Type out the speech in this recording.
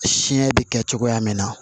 Siɲɛ bɛ kɛ cogoya min na